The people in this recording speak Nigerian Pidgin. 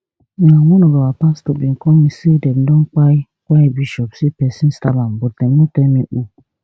na one of our pastor bin call me say dem don kpai kpai bishop say pesin stab am but dem no tell me who